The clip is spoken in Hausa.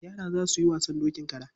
Yara za su yi wasan dokin kara.